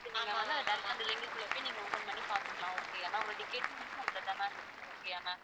so நீங்க வந்து direct ஆ அந்த link குள்ள போய் நீங்க open பண்ணி பாத்துக்கலாம் okay யா ma'am உங்க ticket அதுல தான் ma'am இருக்கும் okay யா ma'am